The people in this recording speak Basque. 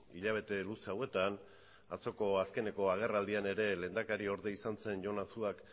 hilabete luze hauetan atzoko azkeneko agerraldian ere lehendakariorde izan zen jon azuak